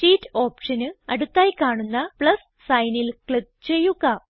sheet ഓപ്ഷന് അടുത്തായി കാണുന്ന പ്ലസ് signൽ ക്ലിക്ക് ചെയ്യുക